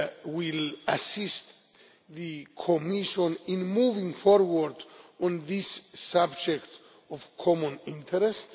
will assist the Commission in moving forward on this subject of common interest.